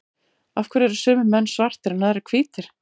af hverju eru sumir menn svartir en aðrir hvítir